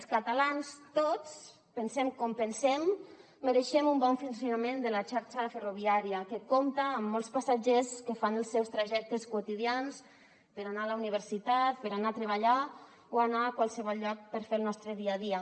els catalans tots pensem com pensem mereixem un bon funcionament de la xarxa ferroviària que compta amb molts passatgers que fan els seus trajectes quotidians per anar a la universitat per anar a treballar o anar a qualsevol lloc per fer el nostre dia a dia